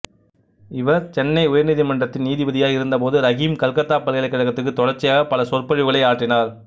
இவர் சென்னை உயர்நீதிமன்றத்தின் நீதிபதியாக இருந்தபோது ரஹீம் கல்கத்தா பல்கலைக்கழகத்திற்கு தொடர்ச்சியாக பல சொற்பொழிவுகளை ஆற்றினார்